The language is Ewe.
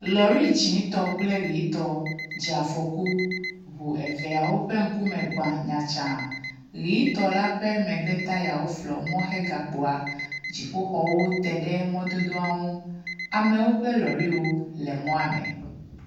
lɔri yitɔ kple dzĩtɔ dzeafɔku ʋu eveawo ƒe ŋkume gbã nyatsaa , ɣitɔ la ƒe megbe tayawo flɔ mɔ he gakpoa, dziƒoxɔwo teɖe mɔdodoaŋu amewo ƒe lɔriwo le mɔa me